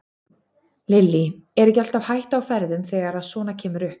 Lillý: Er ekki alltaf hætta á ferðum þegar að svona kemur upp?